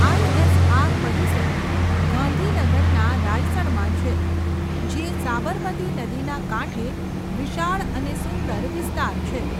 ISR. પરિસર ગાંધીનગરના રાયસણમાં છે, જે સાબરમતી નદીના કાંઠે વિશાળ અને સુંદર વિસ્તાર છે.